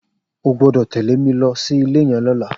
O gbọ́dọ̀ tẹ̀lé mi lọ sí ilé yẹn lọ́la!